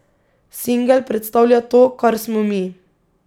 Singel predstavlja to, kar smo mi.